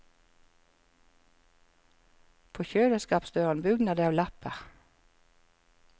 På kjøleskapsdøren bugner det av lapper.